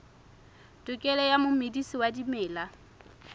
tokelo ya momedisi wa dimela